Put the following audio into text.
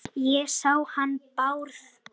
Ég sá hann Bárð.